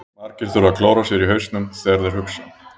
Margir þurfa að klóra sér í hausnum þegar þeir hugsa.